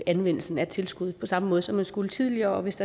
anvendelsen af tilskud på samme måde som man skulle tidligere og hvis